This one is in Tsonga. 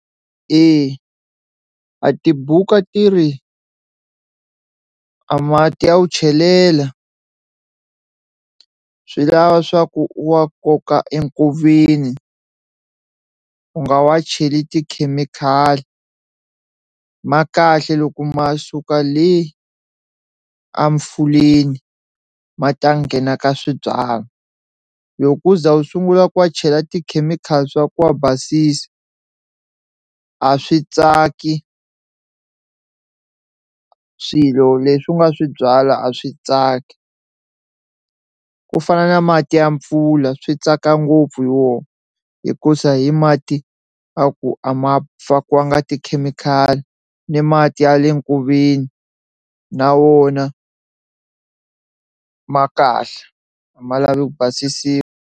Eya a tibuku a ti ri a mati ya wu chelela swi lava swa ku u wa koka enkoveni u nga wa cheli tikhemikhali ma kahle loko ma suka le a mfuleni ma ta nghena ka swibyalwa, loko wo za u sungula ku wa chela tikhemikhali swa ku wa basisa a swi tsaki swilo leswi u nga swi byala a swi tsaki ku fana na mati ya mpfula, swi tsaka ngopfu hi wona hikuza hi mati a ku a ma fakiwanga tikhemikhali ni mati ya le nkoveni na wona ma kahle a ma lavi ku basisiwa.